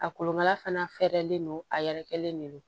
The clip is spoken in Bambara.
A kolonkala fana fɛrɛlen don a yɛrɛkɛlen de don